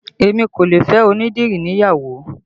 Èmi kò lè fẹ́ onídìrí níyàwó